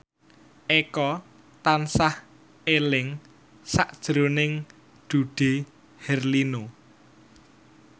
Eko tansah eling sakjroning Dude Herlino